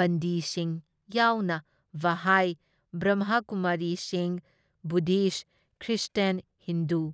ꯕꯟꯗꯤꯁꯤꯡ ꯌꯥꯎꯅ ꯕꯍꯥꯏ, ꯕ꯭ꯔꯝꯍꯀꯨꯃꯥꯔꯤꯁꯤꯡ, Buddhist, Christian, Hindu,